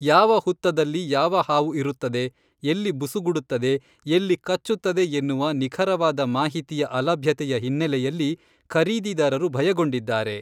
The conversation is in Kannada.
ಯಾವ ಹುತ್ತದಲ್ಲಿ ಯಾವ ಹಾವು ಇರುತ್ತದೆ, ಎಲ್ಲಿ ಬುಸುಗುಡುತ್ತದೆ, ಎಲ್ಲಿ ಕಚ್ಚುತ್ತದೆ ಎನ್ನುವ ನಿಖರವಾದ ಮಾಹಿತಿಯ ಅಲಭ್ಯತೆಯ ಹಿನ್ನೆಲೆಯಲ್ಲಿ ಖರೀದಿದಾರರು ಭಯಗೊಂಡಿದ್ದಾರೆ.